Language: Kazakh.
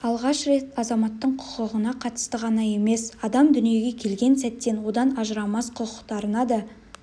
алғаш рет азаматтың құқығына қатысты ғана емес адам дүниеге келген сәттен одан ажырамас құқықтарына да